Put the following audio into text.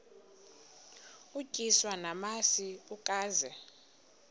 utyiswa namasi ukaze